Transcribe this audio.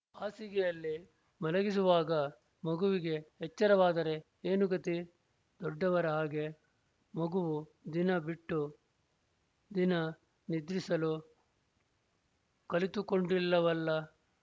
ಹಾಸಿಗೆಯಲ್ಲಿ ಮಲಗಿಸುವಾಗ ಮಗುವಿಗೆ ಎಚ್ಚರವಾದರೆ ಏನು ಗತಿ ದೊಡ್ಡವರ ಹಾಗೆ ಮಗುವೂ ದಿನ ಬಿಟ್ಟು ದಿನ ನಿದ್ರಿಸಲು ಕಲಿತುಕೊಂಡಿಲ್ಲವಲ್ಲ